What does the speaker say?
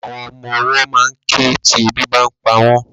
Àwọn ọmọwọ́ ma ń ké tí ebi bá ń pa wọ́n.